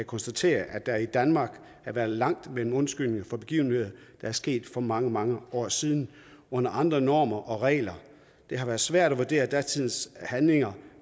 konstatere at der i danmark har været langt mellem undskyldningerne for begivenheder der er sket for mange mange år siden under andre normer og regler det har været svært at vurdere datidens handlinger